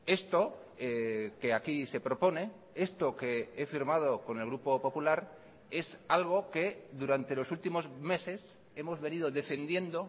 esto que aquí se propone esto que he firmado con el grupo popular es algo que durante los últimos meses hemos venido defendiendo